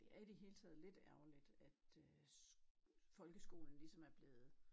Det er i det hele taget lidt ærgerligt at øh folkeskolen ligesom er blevet